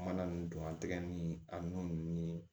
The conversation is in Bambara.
Mana ninnu don an tɛgɛ ni a nun ni